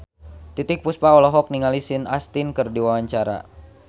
Titiek Puspa olohok ningali Sean Astin keur diwawancara